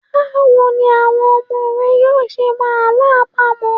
Báwo ni àwọn ọmọ rẹ yóò ṣe mọ Àlọ́ àpamọ̀?